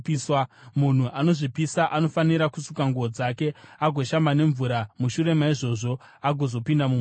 Munhu anozvipisa anofanira kusuka nguo dzake agoshamba nemvura mushure maizvozvo agozopinda mumusasa.